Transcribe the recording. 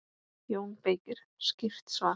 JÓN BEYKIR: Skýrt svar!